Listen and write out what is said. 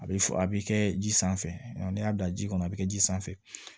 A bɛ fɔ a bɛ kɛ ji sanfɛ ni y'a dan ji kɔnɔ a bɛ kɛ ji sanfɛ